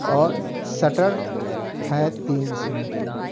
और शटर है तीन इसमें--